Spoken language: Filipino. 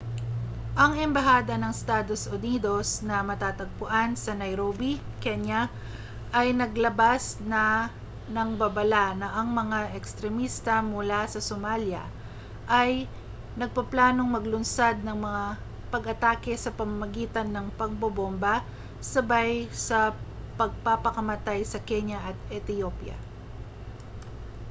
ang embahada ng estados unidos na matatagpuan sa nairobi kenya ay naglabas na ng babala na ang mga ekstremista mula sa somalia ay nagpaplanong maglunsad ng mga pag-atake sa pamamagitan ng pambobomba sabay sa pagpapakamatay sa kenya at ethiopia